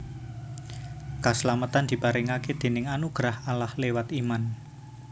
Kaslametan diparingaké déning anugrah Allah liwat Iman